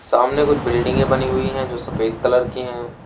सामने कुछ बिल्डिंगें बनी हुई हैं जो सफेद कलर की हैं।